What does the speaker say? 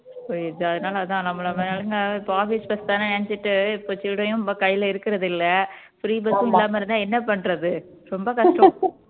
அதான் நம்மளை மாதிரி ஆளுங்க இப்ப office bus தானேன்னு நினைச்சுட்டு இப்ப சில்லறையும் நம்ம கையில இருக்குறது இல்ல free bus உம் இல்லாம இருந்தா என்ன பண்றது ரொம்ப கஷ்டம்